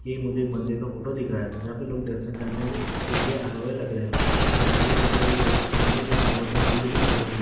ये मुझे एक मंदिर का फोटो दिख रहा है जहाँ पे लोग दर्शन करने के लिए आए हुए लग रहे है जहाँ की मंदिर फो- मंदिर के अंदर बहुत सारे भीड़ भी दिखाई दे रही।